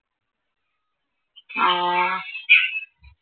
ആഹ്